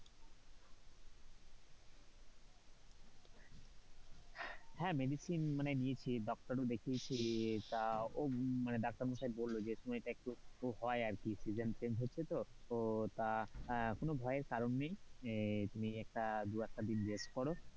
হ্যাঁ medicine মানে নিয়েছি doctor দেখিয়েছি তা doctor মশাই বললো যে তুমি এটা একটু হয় আর কি, season change হচ্ছে তো, তা কোনো ভয়ের কারণ নেই, তুমি একটা দু একটা দিন একটু rest করো,